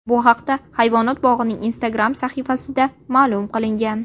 Bu haqda hayvonot bog‘ining Instagram sahifasida ma’lum qilingan .